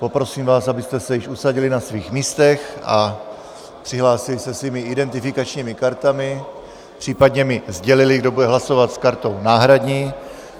Poprosím vás, abyste se již usadili na svých místech a přihlásili se svými identifikačními kartami, případně mi sdělili, kdo bude hlasovat s kartou náhradní.